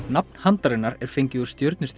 nafn handarinnar er fengið úr